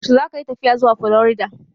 Yaushe zakayi tafiya zuwa Florida?